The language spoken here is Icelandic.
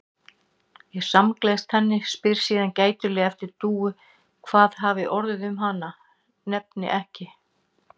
Ég samgleðst henni, spyr síðan gætilega eftir Dúu, hvað hafi orðið um hana, nefni ekki